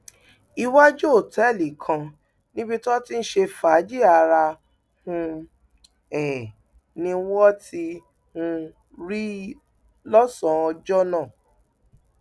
iwájú òtẹẹlì kan níbi tó ti ń ṣe fàájì ara um ẹ ni wọn ti um rí i lọsànán ọjọ náà